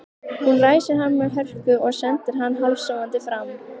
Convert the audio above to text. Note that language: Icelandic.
Hún ræsir hann með hörku og sendir hann hálfsofandi fram.